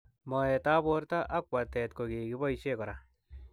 Moet ab borto ak watet ko kike boishe kora